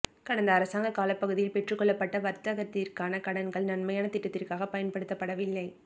கடந்த அரசாங்க காலப்பகுதியில் பெற்றுக்கொள்ளப்பட்ட வர்த்தகத்திற்கான கடன்கள் நன்மையான திட்டத்திற்காக பயன்படுத்தப்படவில்லை